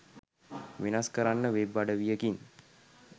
වෙනස් කරන්න වෙබ් අඩවියකින්